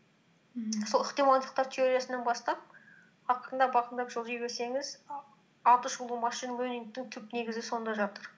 мхм сол ықтималдықтар теориясынан бастап ақырындап ақырындап жылжи берсеңіз аты шулы машин лернингтің түп негізі сонда жатыр